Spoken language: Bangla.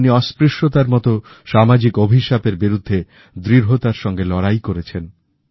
উনি অস্পৃশ্যতার মতো সামাজিক অভিশাপ এর বিরুদ্ধে দৃঢ়তার সঙ্গে লড়াই করেছেন